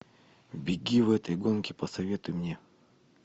беги в этой гонке посоветуй мне